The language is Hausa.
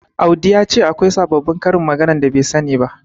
Audi ya ce akwai sababbin karin maganar da bai sani ba.